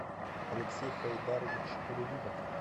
алексей хайдарович рувинов